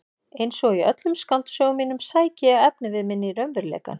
Einsog í öllum skáldsögum mínum sæki ég efnivið minn í raunveruleikann.